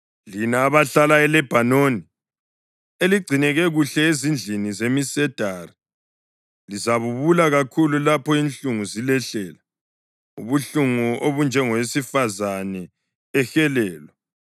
Lina abahlala ‘eLebhanoni,’ eligcineke kuhle ezindlini zemisedari, lizabubula kakhulu lapho inhlungu zilehlela, ubuhlungu obunjengowesifazane ehelelwa!”